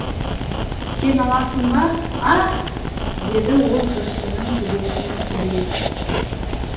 сен аласың ба аһ деді ол жүрсіннің төбесінен құдиып